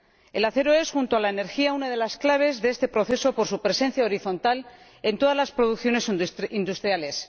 El acero es, junto con la energía, una de las claves de este proceso por su presencia horizontal en todas las producciones industriales.